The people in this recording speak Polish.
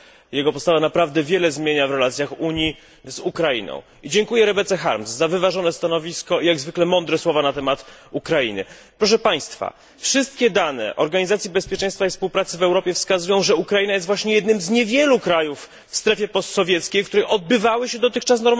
Jego postawa naprawdę wiele zmienia w relacjach Unii z Ukrainą. Dziękuję również Rebecce Harms za wyważone stanowisko i jak zwykle mądre słowa na temat Ukrainy. Wszystkie dane Organizacji Bezpieczeństwa i Współpracy w Europie wskazują, że Ukraina jest jednym z niewielu krajów w strefie post sowieckiej, w których odbywały się dotychczas